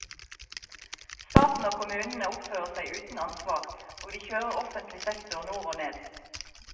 Staten og kommunene oppfører seg uten ansvar, og de kjører offentlig sektor nord og ned.